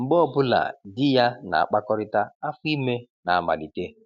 Mgbe ọ bụla di ya na-akpakọrịta, afọ ime na-amalite.